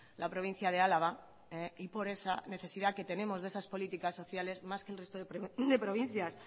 la provincia de álava y por esa necesidad que tenemos de esas políticas sociales más que el resto de provincias